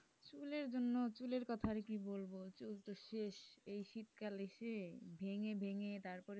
চুলের জন্য চুলের কথা আর কি বলবো? চুল তো শেষ এই শীতকাল এসে ভেঙ্গে ভেঙ্গে তারপরে,